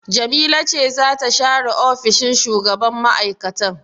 Jamila ce za ta share ofishin shugaban mai'aikatan.